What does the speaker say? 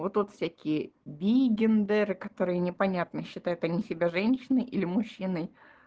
вот тут всякие бигендеры которые непонятно считают они себя женщиной или мужчиной